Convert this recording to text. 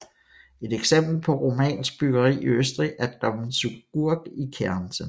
Et eksempel på romansk byggeri i Østrig er Dom zu Gurk i Kärnten